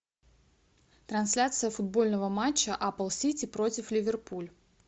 трансляция футбольного матча апл сити против ливерпуль